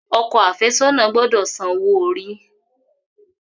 Ọkọ afesona gbódò sàn owo-ori.